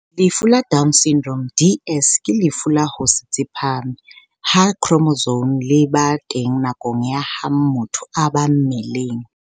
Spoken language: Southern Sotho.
Lefu la Down Syndrome, DS, ke lefu la ho se tsepame ha khromosome le ba teng nakong ya ha motho a ba mmeleng.